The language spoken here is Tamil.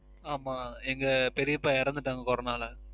ஆமாம் எங்க பெரியப்பா இறந்துட்டாங்க Corona ல